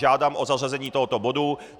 Žádám o zařazení tohoto bodu.